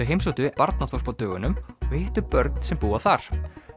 heimsóttu barnaþorp á dögunum og hittu börn sem búa þar